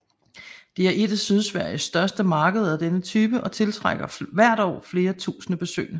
Det er et af Sydsveriges største markeder af denne type og tiltrækker hvert år flere tusinde besøgende